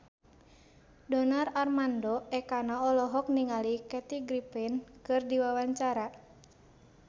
Donar Armando Ekana olohok ningali Kathy Griffin keur diwawancara